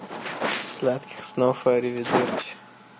сладких снов аривидерчи